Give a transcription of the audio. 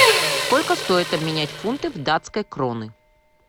сколько стоит обменять фунты в датской кроны